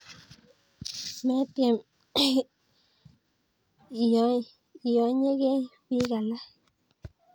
Metyem iyonyekey piik alak